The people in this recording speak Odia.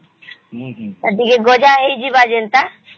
ଟିକେ ଗଜା ହେଇଯିବ ଯେନ୍ତା